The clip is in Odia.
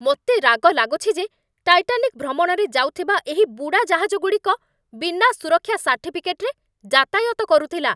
ମୋତେ ରାଗ ଲାଗୁଛି ଯେ ଟାଇଟାନିକ୍ ଭ୍ରମଣରେ ଯାଉଥିବା ଏହି ବୁଡ଼ାଜାହାଜଗୁଡ଼ିକ ବିନା ସୁରକ୍ଷା ସାର୍ଟିଫିକେଟ୍‌ରେ ଯାତାୟାତ କରୁଥିଲା।